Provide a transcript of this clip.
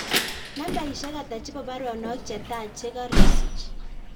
Nambaisyek ata chebo baronok che taa chegarasich